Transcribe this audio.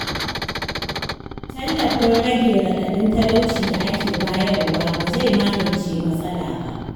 Tallafin rage raɗaɗin talauci da ake bayarwa, ba zai magance matsala ba.